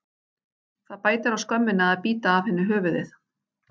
Það bætir á skömmina að bíta af henni höfuðið.